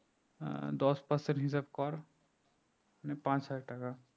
আহ দশ person হিসাব কর মানে পাঁচ হাজার টাকা